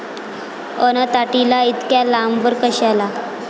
अन ताटीला इतक्या लांबवर कशाला?